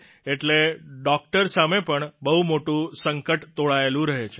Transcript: એટલે ડોકટર સામે પણ બહુ મોટું સંકટ તોળાયેલું રહે છે